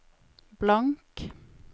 blank